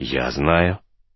я знаю